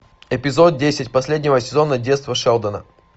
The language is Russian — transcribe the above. эпизод десять последнего сезона детство шелдона